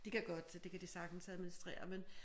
De kan godt så det kan de sagtens administrere men